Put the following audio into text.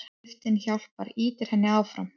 Heiftin hjálpar, ýtir henni áfram.